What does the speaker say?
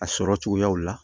A sɔrɔ cogoyaw la